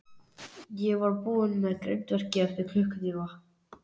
Ég verð búinn með grindverkið eftir klukkutíma.